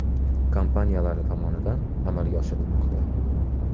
kompaniyalari tomonidan amalga oshirilmoqda.